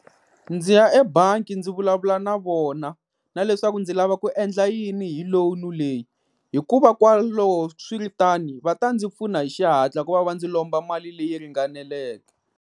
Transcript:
Ndzi ya ebangi ndzi vulavula na vona na leswaku ndzi lava ku endla yini hi loan leyi hikuva swi ri tano va ta ndzi pfuna hi xihatla ku va va ndzi lomba mali leyi ringaneleke.